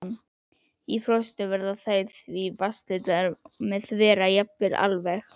Í frostum verða þær því vatnslitlar eða þverra jafnvel alveg.